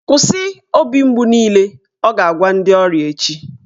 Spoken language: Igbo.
"Kwụsị, obi mgbu niile" Ọ ga-agwa ndị ọrịa echi